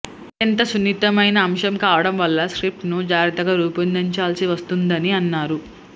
అత్యంత సున్నితమైన అంశం కావడం వల్ల స్క్రిప్ట్ను జాగ్రత్తగా రూపొందించాల్సి వస్తోందని అన్నారు